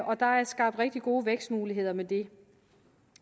og der er skabt rigtig gode vækstmuligheder med det